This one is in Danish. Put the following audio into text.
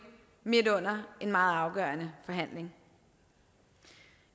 midt under en meget afgørende forhandling